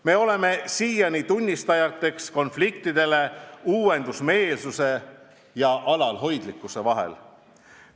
Me oleme siiani tunnistajaks konfliktidele uuendusmeelsuse ja alalhoidlikkuse pooldajate vahel.